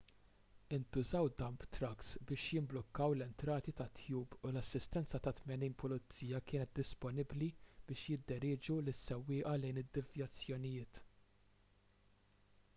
intużaw dump trucks biex jimblukkaw l-entrati tat-tube u l-assistenza ta' 80 pulizija kienet disponibbli biex jidderieġu lis-sewwieqa lejn id-devjazzjonijiet